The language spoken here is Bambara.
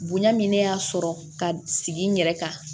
Bonya min ne y'a sɔrɔ ka sigi n yɛrɛ kan